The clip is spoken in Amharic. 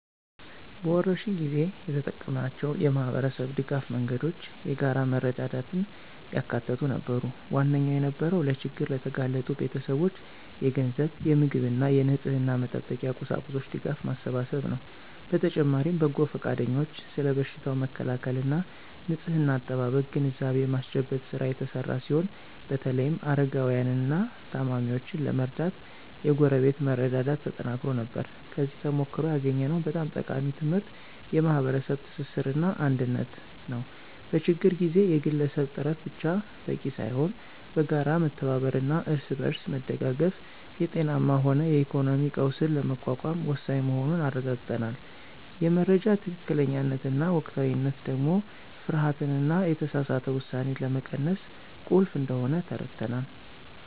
በወረርሽኝ ጊዜ የተጠቀምናቸው የማኅበረሰብ ድጋፍ መንገዶች የጋራ መረዳዳትን ያካተቱ ነበሩ። ዋነኛው የነበረው ለችግር ለተጋለጡ ቤተሰቦች የገንዘብ፣ የምግብና የንጽሕና መጠበቂያ ቁሳቁስ ድጋፍ ማሰባሰብ ነው። በተጨማሪም በጎ ፈቃደኞች ስለ በሽታው መከላከልና ንጽሕና አጠባበቅ ግንዛቤ የማስጨበጥ ሥራ የተሰራ ሲሆን በተለይም አረጋውያንንና ታማሚዎችን ለመርዳት የጎረቤት መረዳዳት ተጠናክሮ ነበር። ከዚህ ተሞክሮ ያገኘነው በጣም ጠቃሚ ትምህርት የማኅበረሰብ ትስስርና አንድነት ነው። በችግር ጊዜ የግለሰብ ጥረት ብቻ በቂ ሳይሆን በጋራ መተባበርና እርስ በርስ መደጋገፍ የጤናም ሆነ የኢኮኖሚ ቀውስን ለመቋቋም ወሳኝ መሆኑን አረጋግጠናል። የመረጃ ትክክለኛነትና ወቅታዊነት ደግሞ ፍርሃትንና የተሳሳተ ውሳኔን ለመቀነስ ቁልፍ እንደሆነ ተረድተናል።